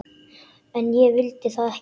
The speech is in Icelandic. En ég vil það ekki.